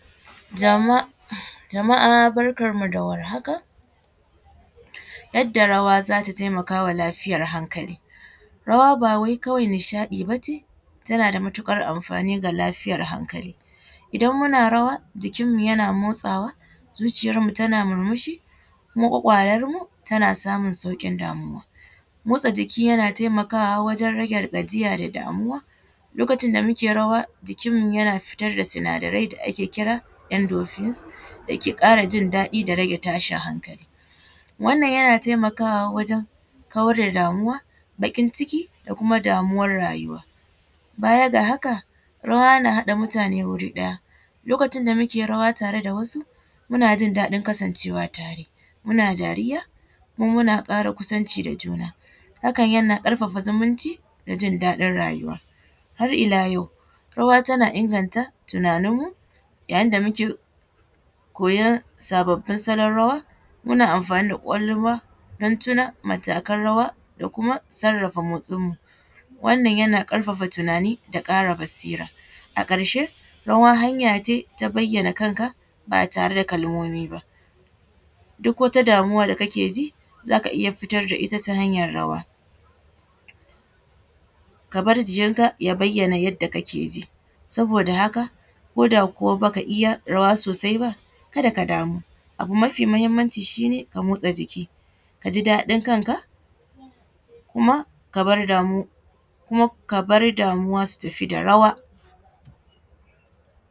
Jama uhmm jama’a barkan mu da warhaka. Yadda rawa zata taimaka lafiyar hankali, rawa ba wai kawai nishaɗi bace, tana da matuƙar amfani ga lafiyar hankali. Idan muna rawa, jikin mu yana motsawa, zuciyar mu tana murmushi, kuma ƙwaƙwalar mu tan samun sauƙin damuwa, motsa jiki yana taimakawa wajen rage gajiya da damuwa lokacin da muke rawa jikin mu yana fitar da sinadarai da ake kira endofuse da ke ƙara jin daɗi da rage tashin hankali. Wannan yana taimakawa wajen kawar da damuwa, baƙin ciki da kuma damuwar rayuwa. Baya ga haka, rawa na haɗa mutane wuri ɗaya, lokacin da muke rawa tare da wasu, muna jin daɗin kasancewa tare muna dariya kuma muna ƙara kusanci da juna, hakan yana ƙara zumunci da jin daɗin rayuwa. Har’ila yau rawa tana inganta tunanin mu yayin da muke koyon sababbbin salon rawa muna amfani da ƙwaƙwalwa don tuna matakan rawa da kuma sarrafa motsin mu, wannan yana ƙarfafa tunani da ƙara basira. A ƙarshe rawa hanya ce ta bayyana kanka ba tare da kalmomi ba duk wata damuwa da kake ji zaka iya fitar da ita ta hanyar rawa ka bar jiyin ka ya bayyana yadda kake ji saboda haka ko da kuwa baka iya rawa sosai ba kada ka damu abu mafi muhimmanci shine ka motsa jiki ka ji daɗin kanka kuma ka bar damu kuma ka bar damuwa su tafi da rawa.